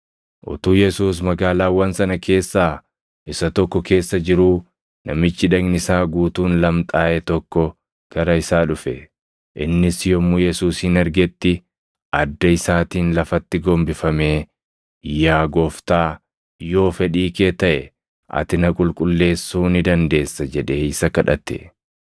Utuu Yesuus magaalaawwan sana keessaa isa tokko keessa jiruu namichi dhagni isaa guutuun lamxaaʼe tokko gara isaa dhufe. Innis yommuu Yesuusin argetti adda isaatiin lafatti gombifamee, “Yaa Gooftaa, yoo fedhii kee taʼe, ati na qulqulleessuu ni dandeessa” jedhee isa kadhate.